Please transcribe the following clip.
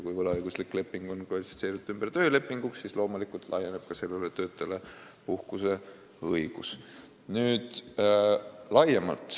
Kui võlaõiguslik leping on kvalifitseeritud ümber töölepinguks, siis on ka sellel töötajal puhkuseõigus.